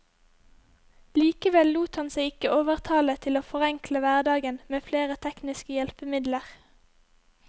Likevel lot han seg ikke overtale til å forenkle hverdagen med flere tekniske hjelpemidler.